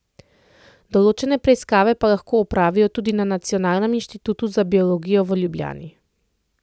Določene preiskave pa lahko opravijo tudi na Nacionalnem inštitutu za biologijo v Ljubljani.